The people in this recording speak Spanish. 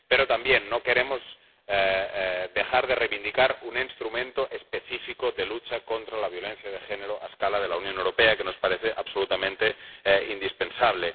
Pero tampoco queremos dejar de reivindicar un instrumento específico de lucha contra la violencia de género a escala de la Unión Europea, que nos parece absolutamente indispensable.